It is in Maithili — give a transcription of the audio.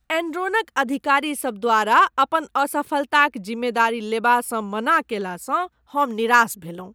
एनरॉनक अधिकारी सब द्वारा अपन असफलताक जिम्मेदारी लेबासँ मना कयलासँ हम निराश भेलहुँ ।